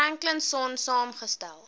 franklin sonn saamgestel